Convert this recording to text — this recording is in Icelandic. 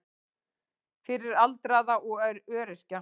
Fyrir aldraða og öryrkja.